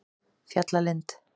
Fjallalind